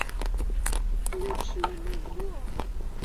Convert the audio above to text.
включи музло